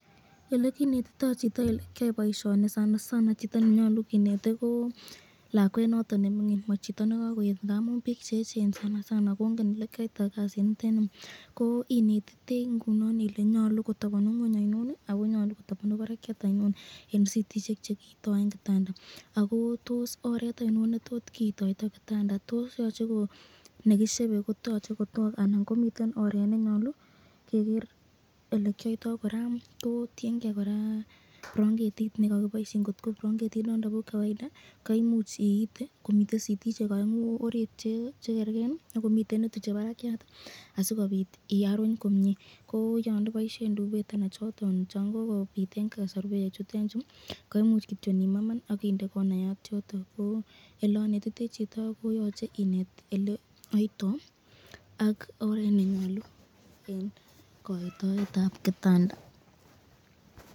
Elekinetito chito elekyoito boisyoni, ineti kole nyalu kotabanu ngweny sitit ainon ko ainon netabanu barakyat eng sitisyek chekiito eng kitandet ako oret ainon ne nyalu kiiton kitanda, tienke branketit nekiboisyen kot ko chikibo Keny anan ko chekoitu ,koterter ortinwek che imuch kiito.